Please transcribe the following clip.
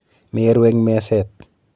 Meru eng meset.